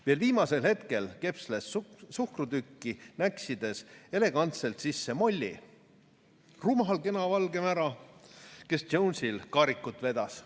Veel viimasel hetkel kepsles suhkrutükki näksides elegantselt sisse Mollie, rumal kena valge mära, kes Jonesil kaarikut vedas.